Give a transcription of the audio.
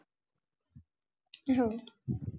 हम्म अं